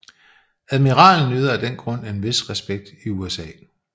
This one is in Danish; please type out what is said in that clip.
Admiralen nyder af den grund en vis respekt i USA